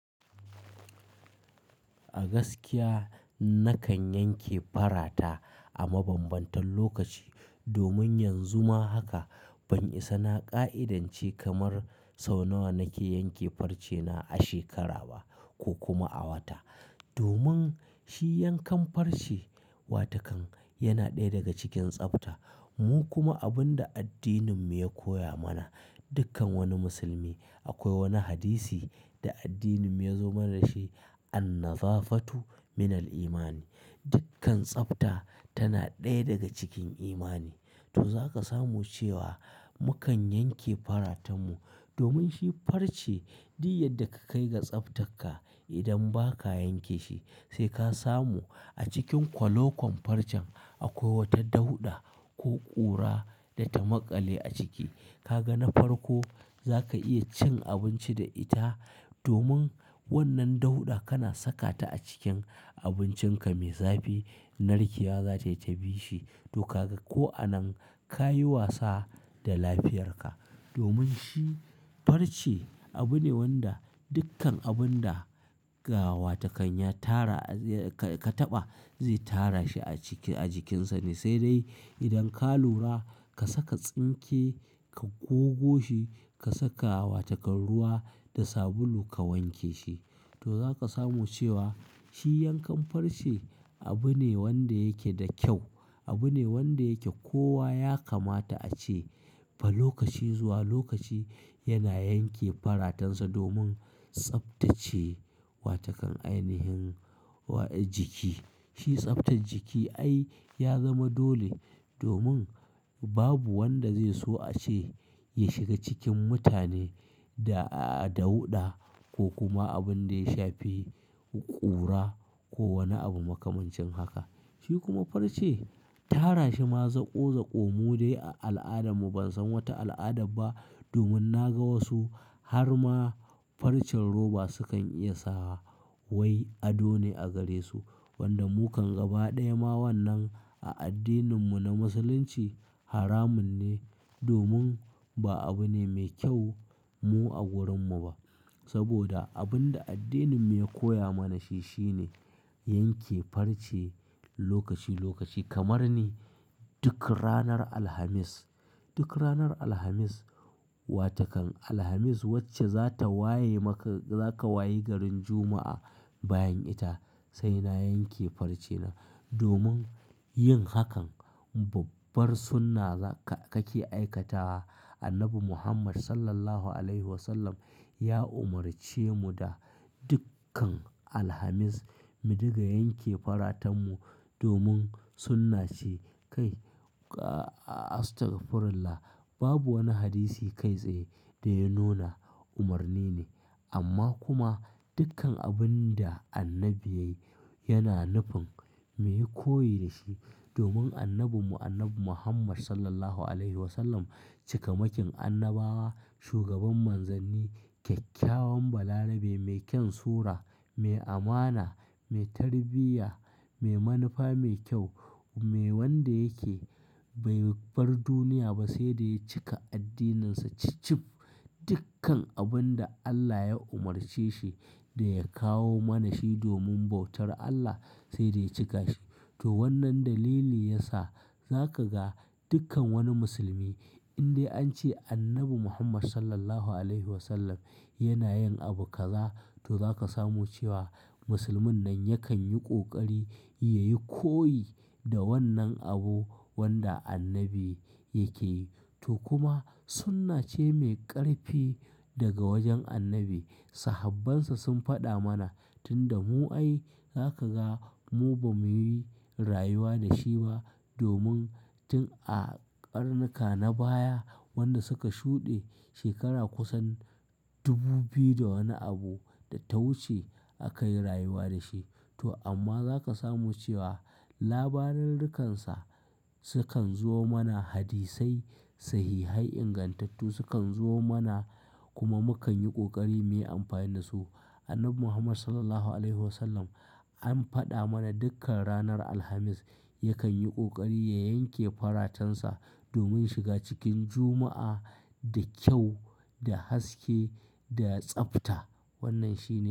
A gaskiya nakan yanke farata a mabambantan lokaci domin yanzu ma haka ban isa na ƙa'idance kamar sau nawa nake yanke farcena a shekara ba ko kuma a wata. Domin shi yankan farce watakan yana ɗaya daga cikin tsafta. Mu kuma abin da addininmu ya koya mana, dukkan wani musulmi akwai wani hadisi da addininmu ya zo mana da shi "An-naza fatu minal imani". Dukkan tsafta tana ɗaya daga cikin imani. To zaka samu cewa mukan yanke faratan mu domin shi farce duk yadda ka kai ga tsaftarka idan ba ka yanke shi sai ka samu a cikin kwaleƙwar farcen akwai wata dauɗa ko ƙura da ta maƙale a ciki. Ka ga na farko za ka iya cin abinci da ita domin wannan dauɗa kana sakata a cikin abincinka mai zafi. Narkewa za ta yi ta bishi, to ka ga ko anan ka yi wasa da lafiyarka. Domin shi farce abu ne wanda dukkan abun da ga, wata kan ya tara, ka-ka taɓa zai tara shi a jikinsa ne. Sai dai idan ka lura ka saka tsinke ka gogo shi ka saka watakan ruwa da sabulu ka wanke shi to zaka samu cewa shi yankan farce abu ne wanda yake da kyau. Abu ne wanda yake kowa ya kamata a ce ba lokaci zuwa lokaci yana yanke faratansa domin tsaftace watakan ainihin jiki. Shi tsaftar jiki ai ya zama dole domin babu wanda zai so a ce ya shiga cikin mutane da dauɗa ko kuma abin da ya shafi ƙura ko wani abu makamancin haka. Shi kuma farce, tara shi ma zaƙo zaƙo mu dai a al'adarmu ban san wata al'adar ba domin na ga wasu har ma farcen roba sukan iya sawa wai adone a gare su. Wanda mu kam ga ba ɗaya ma wannan a addininmu na musulunci haramun ne domin ba abu ne mai kyau mu a wurinmu ba. Saboda abin da addininmu ya koya mana shi shine yanke farce lokaci lokaci kamar ni duk ranar Alhamis. Duk ranar Alhamis, watakan Alhamis wacce za ta waye maka zaka wayi garin Juma'a bayan ita sai na yanke farcena. Domin yin hakan babbar sunna zaka-kake aikatawa. Annabi Muhammad Sallallahu Alaihi Wasallam ya umarce mu da dukkan Alhamis mu dinga yanke faratan mu domin sunna ce. Kai Astagfirullah, babu wani hadisi kai tsaye da ya nuna umarni ne. Amma kuma dukkan abin da annabi yayi yana nufin mu yi koyi da shi. Domin annabinmu annabi Muhammad Sallallahu Alaihi Wasallam cikamakin annabawa, shugaban manzanni, kyakkyawan balarabe, mai kyan sura, mai amana, mai tarbiyya, mai manufa mai kyau, me wanda yake bai bar duniya ba sai da ya cika addininsa cif-cif. Dukkan abin da Allah ya umarce shi da ya kawo mana shi domin bautar Allah sai dai ya cika shi. To wannan dalili yasa zaka ga dukkan wani musulmi in dai an ce annabi Muhammad Sallallahu Alaihi Wasallam yana yin abu kaza to zaka samu cewa musulmin nan yakan yi ƙoƙari ya yi koyi da wannan abu wanda annabi yake yi. To kuma sunna ce mai ƙarfi daga wajen annabi. Sahabbansa sun faɗa mana tunda mu ai zaka ga mu ba mu yi rayuwa da shi ba domin tun a ƙarnuka na baya wanda suka shuɗe, shekara kusan 2000 da wani abu da ta wuce aka yi rayuwa da shi. To amma za ka samu cewa labararrikansa sukan zo mana hadisai sahihai ingantattu sukan zo mana kuma mu kan yi ƙoƙari mu yi amfani da su. Annabi Muhammad Sallallahu Alaihi Wasallam an faɗa mana dukkan ranar Alhamis yakan yi ƙoƙari ya yanke faratansa domin shiga cikin Juma'a da kyau, da haske, da tsafta. Wannan shi ne.